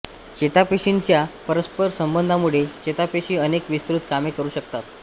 चेतापेशींच्या परस्पर संबंधामुळे चेतापेशी अनेक विस्तृत कामे करू शकतात